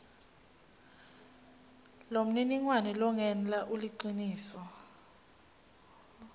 lomniningwane longenla uliciniso